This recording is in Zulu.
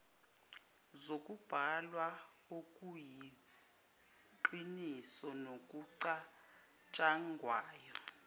zokubhalwayo okuyiqiniso nokucatshangwayo